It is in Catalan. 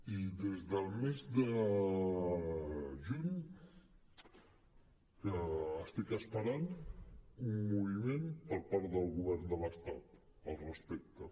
i des del mes de juny que estic esperant un moviment per part del govern de l’estat al respecte